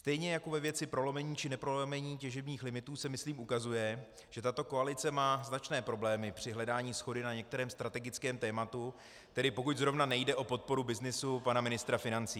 Stejně jako ve věci prolomení či neprolomení těžebních limitů se, myslím, ukazuje, že tato koalice má značné problémy při hledání shody na některém strategickém tématu, tedy pokud zrovna nejde o podporu byznysu pana ministra financí.